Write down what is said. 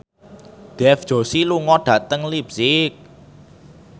Dev Joshi lunga dhateng leipzig